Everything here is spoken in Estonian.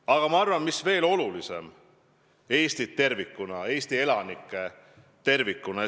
Aga ma arvan, et veel olulisem on see, et kõik esindavad Eestit tervikuna, Eesti elanikke tervikuna.